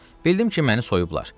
Bildim ki, məni soyublar.